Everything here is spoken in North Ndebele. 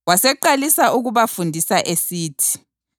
Waseqalisa ukubafundisa esithi: